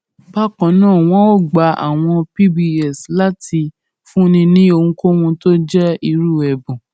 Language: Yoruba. bákan náà wọn ò gba àwọn pbs láyè láti fúnni ní ohunkóhun tó jẹ irú èbùn